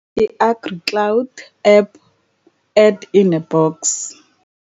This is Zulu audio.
I-AGRICLOUD APP Add in a box